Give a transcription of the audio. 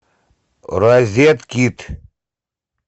розеткид